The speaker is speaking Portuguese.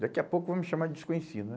Daqui a pouco vão me chamar de desconhecido né?